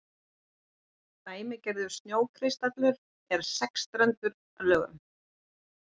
dæmigerður snjókristallur er sexstrendur að lögun